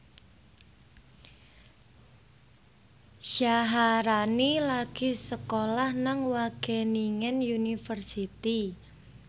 Syaharani lagi sekolah nang Wageningen University